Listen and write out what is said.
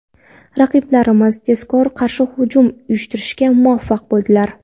Raqiblarimiz tezkor qarshi hujum uyushtirishga muvaffaq bo‘ldilar.